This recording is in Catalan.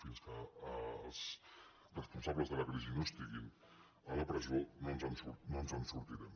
fins que els responsables de la crisi no estiguin a la presó no ens en sortirem